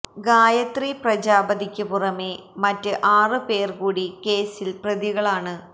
ഗായത്രി പ്രജാപതിക്ക് പുറമേ മറ്റ് ആറ് പേര് കൂടി കേസില് പ്രതികളാണ്